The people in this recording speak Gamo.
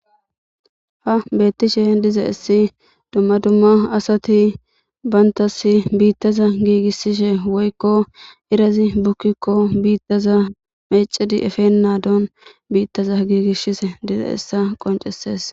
Ha betishe dizaysi dumma dumma asati bantasi biitaza giigisishe woyko irazi bukiko biitaza meecid efenadani biita giigisishe dizaysa qoncises.